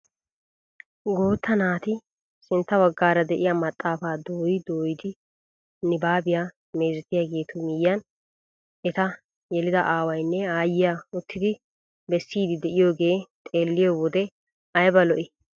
Guutta naati sintta baggaara de'iyaa maxaafaa dooyi doyidi nibaabiyaa mezettiyaagetu miyiyaan eta yelida awayinne aayyaa uttidi bessiidi de'iyooge xeelliyoo wode ayba lo"ii!